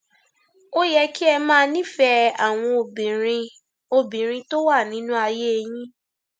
ó yẹ kí ẹ máa nífẹẹ àwọn obìnrin obìnrin tó wà nínú ayé yín